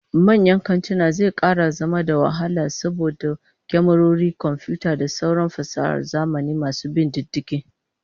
Tabbas yin sata daga manyan kantuna zai kara zama da wahala saboda kyamarori da komfiyuta da sauran fasahar zamani masu bin diddigi